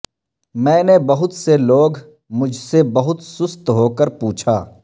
میں نے بہت سے لوگ مجھ سے بہت سست ہوکر پوچھا